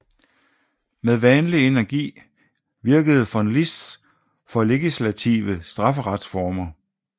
Med vanlig energi virkede von Liszt for legislative strafferetsreformer